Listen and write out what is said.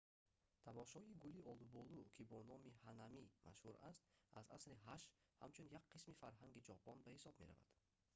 тамошои гули олуболу ки бо номи «ҳанами» машҳур аст аз асри 8 ҳамчун як қисми фарҳанги ҷопон ба ҳисоб меравад